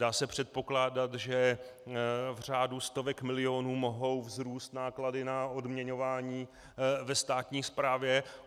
Dá se předpokládat, že v řádu stovek milionů mohou vzrůst náklady na odměňování ve státní správě.